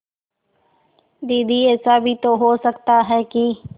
दीदी ऐसा भी तो हो सकता है कि